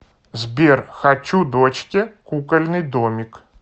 сбер хочу дочке кукольный домик